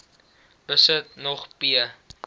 besit nog p